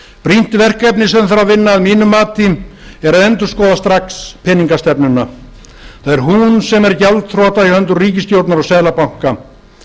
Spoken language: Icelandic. brýnt verkefni sem þarf að vinna að mínu mati er að endurskoða strax peningastefnuna það er hún sem er gjaldþrota í höndum ríkisstjórnar og seðlabanka